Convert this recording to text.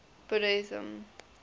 buddhism